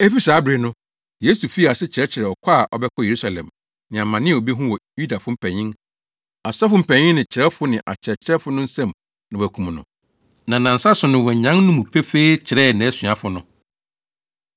Efi saa bere no, Yesu fii ase kyerɛkyerɛɛ ɔkɔ a ɔbɛkɔ Yerusalem, ne amane a obehu wɔ Yudafo mpanyin, asɔfo mpanyin ne kyerɛwfo ne akyerɛkyerɛfo no nsam na wɔakum no, na nnansa so no wanyan no mu pefee kyerɛɛ nʼasuafo no.